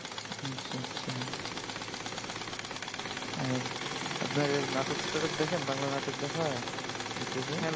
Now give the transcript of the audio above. আর আপনারা নাটক টাটক দেখেন বাংলা নাটক দেখা হয় you tube এ?